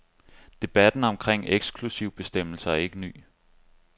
Debatten omkring eksklusivbestemmelser er ikke ny.